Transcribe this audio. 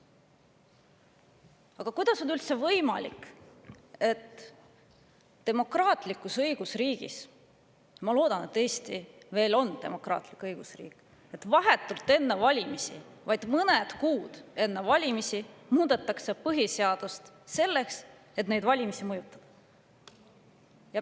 Aga kuidas on üldse võimalik, et demokraatlikus õigusriigis – ma loodan, et Eesti veel on demokraatlik õigusriik – vahetult enne valimisi, vaid mõned kuud enne valimisi, muudetakse põhiseadust selleks, et neid valimisi mõjutada?